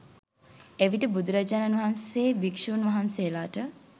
එවිට බුදුරජාණන් වහන්සේ භික්ෂූන් වහන්සේලාට